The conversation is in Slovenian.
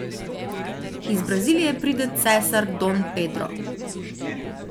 Iz Brazilije pride cesar Dom Pedro.